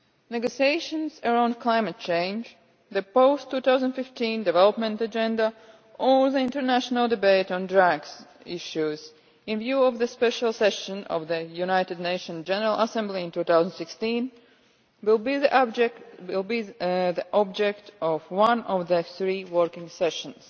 Negotiations around climate change, the post 2015 development agenda or the international debate on drugs issues, in view of the Special Session of the United Nations General Assembly in 2016, will be the object of one of the three working sessions.